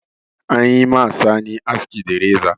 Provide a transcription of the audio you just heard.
An yi ma Sani aski da reza.